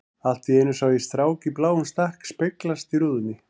Allt í einu sá ég strák í bláum stakk speglast í rúðunni.